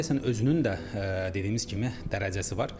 Radiasiyanın özünün də dediyimiz kimi dərəcəsi var.